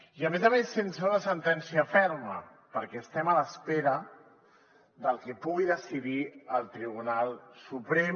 i a més a més sense una sentència ferma perquè estem a l’espera del que pugui decidir el tribunal suprem